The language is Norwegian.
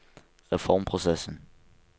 reformprosessen